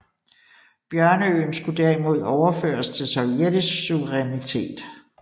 Bjørneøen skulle derimod overføres til sovjetisk suverænitet